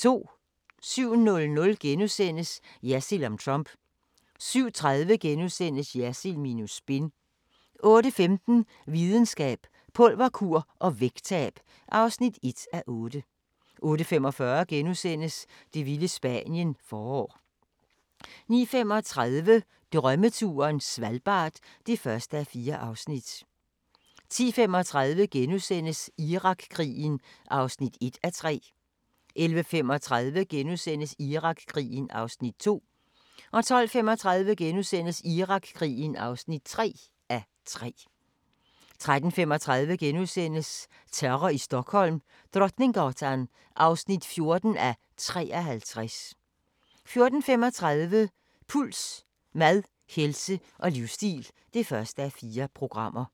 07:00: Jersild om Trump * 07:30: Jersild minus spin * 08:15: Videnskab: Pulverkur og vægttab (1:8) 08:45: Det vilde Spanien – forår * 09:35: Drømmeturen - Svalbard (1:4) 10:35: Irakkrigen (1:3)* 11:35: Irakkrigen (2:3)* 12:35: Irakkrigen (3:3)* 13:35: Terror i Stockholm: Drottninggatan 14:53 * 14:35: Puls: Mad, helse og livsstil (1:4)